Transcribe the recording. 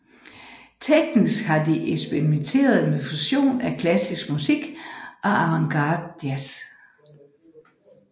Teknisk har de eksperimenteret med fusion af klassisk musik og avantgardejazz